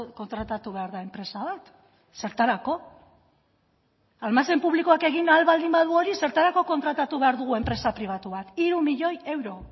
kontratatu behar da enpresa bat zertarako almazen publikoak egin ahal baldin badu hori zertarako kontratatu behar dugu enpresa pribatu bat hiru milioi euro